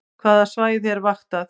Hvaða svæði er vaktað